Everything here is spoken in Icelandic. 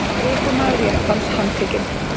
Ökumaður jeppans handtekinn